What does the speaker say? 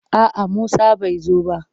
A'a Musa bai zo ba.